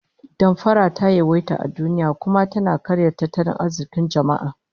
Damfara ta yawaita a duniya, kuma tana karya tattalin arzikin jama'a